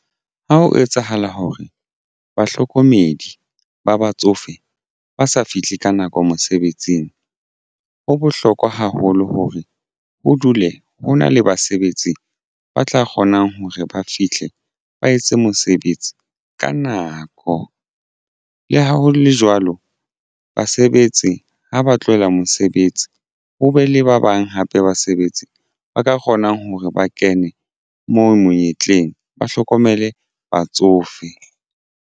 Ha ho etsahala hore bahlokomedi ba batsofe ba sa fihle ka nako mosebetsing ho bohlokwa haholo hore ho dule ho na le basebetsi ba tla kgonang hore ba fihle ba etse mosebetsi ka nako. Le ha ho le jwalo basebetsi ha ba tlohela mosebetsi ho be le ba bang hape basebetsi ba ka kgonang hore ba kene moo monyetleng ba hlokomele batsofe.